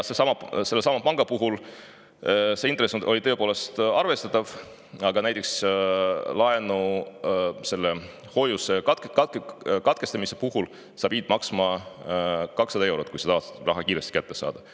Selle panga intress oli tõepoolest arvestatav, aga näiteks hoiuse katkestamise puhul pidid sa maksma 200 eurot, kui sa tahtsid seda raha kiiresti kätte saada.